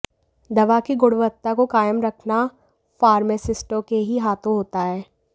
दवा की गुणवत्ता को कायम रखना फार्मासिस्टों के ही हाथों होता है